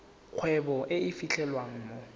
kgwebo e e fitlhelwang mo